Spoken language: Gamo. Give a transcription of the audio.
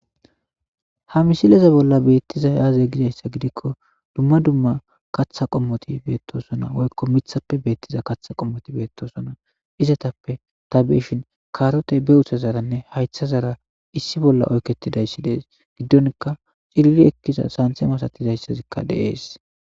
ha misileza bolla beettiza yaaze gizayssa gidikko dumma dumma kaththa qommoti beettosona woykko mithappe beettiza katha qommoti beettosona izatappe ta beshin karote be utsa zaranne haytha zara issi bolla oyketidayssi dees giddonka cirili ekkiza santhe masatidayssazikka deees